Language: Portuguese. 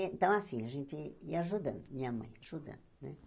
Então assim, a gente ia ajudando, minha mãe ajudando, né?